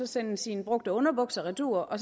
sende sine brugte underbukser retur og